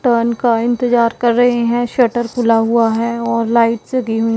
turn का इंतजार कर रहे हैं शटर खुला हुआ है और लाइट्स लगी हुईं--